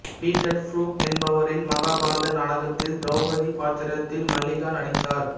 Peter Brook என்பவரின் மகாபாரத நாடகத்தில் திரௌபதி பாத்திரத்தில் மல்லிகா நடித்தார்